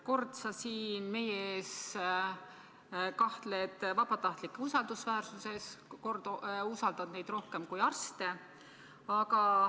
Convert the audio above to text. Kord sa siin meie ees kahtled vabatahtlike usaldusväärsuses, kord usaldad neid rohkem kui arste.